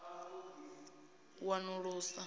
u ṱoḓisisa na u wanulusa